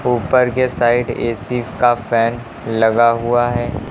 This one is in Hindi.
ऊपर के साइड ए_सी का फैन लगा हुआ है।